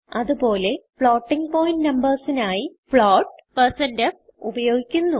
അത് പോലെ floating point numbers നായി float160f ഉപയോഗിക്കുന്നു